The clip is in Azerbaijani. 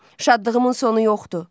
Şadlığımın sonu yoxdu.